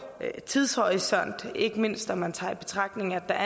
tidshorisont ikke mindst når man tager i betragtning at der